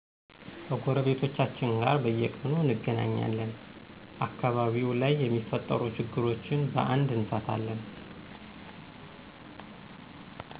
ከጎረቤቶቻችን ጋር በየቁኑ እንገናኛልን አከባቢው ላይ የሚፈጠሩ ችግሮችን በአንድ እንፈታለን